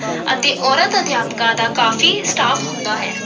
ਅਤੇ ਔਰਤ ਅਧਿਆਪਕਾਂ ਦਾ ਕਾਫੀ staff ਹੁੰਦਾ ਹੈ।